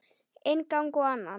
Inn gang og annan.